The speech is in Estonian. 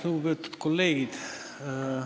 Lugupeetud kolleegid!